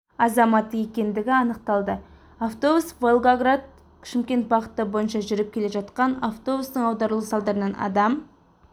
азаматы екендігі анықталды автобус волгоград шымкент бағыты бойынша жүріп келе жатқан автобустың аударылуы салдарынан адам